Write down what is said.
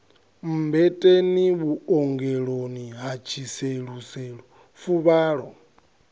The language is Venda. mmbeteni vhuongeloni ha tshiseluselu fuvhalo